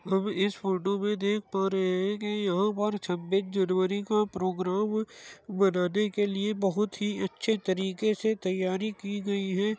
हम इस फोटो में देख पा रहे हैं कि यहां पर छब्बीस जनवरी का प्रोग्राम मनाने के लिए बहुत ही अच्छे तरीके से तैयारी की गई है।